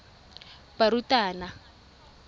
barutabana